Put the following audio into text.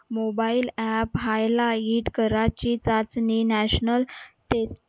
mobile app highlight करायची चाचणी national